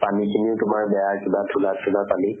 পানী খিনিও তোমাৰ বেয়া কিবা ঘোলা ঘোলা পানী।